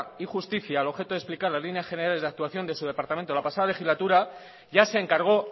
y justicia al objeto de explicar las líneas generales de actuación de su departamento en la pasada legislatura ya se encargó